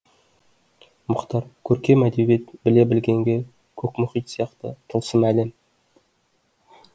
мұхтар көркем әдебиет біле білгенге көк мұхит сияқты тылсым әлем